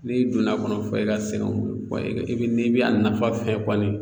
N'i donn'a kɔnɔ fɔ i ka sɛgɛnw, wa i bi n'i bi a nafa fɛ kɔni